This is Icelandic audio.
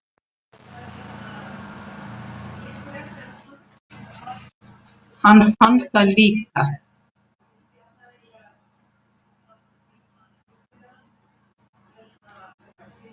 Hann fann það líka.